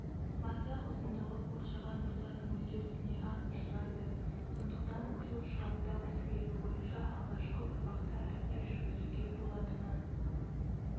масақ ұзындығы қоршаған ортаның өзгерісіне аз ұшырайды сондықтан сорт шығаруда осы белгі бойынша алғашқы ұрпақта іріктеу жүргізуге болатыны